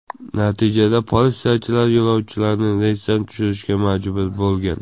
Natijada politsiyachilar yo‘lovchilarni reysdan tushirishga majbur bo‘lgan.